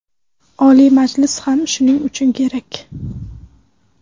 Oliy Majlis ham shuning uchun kerak.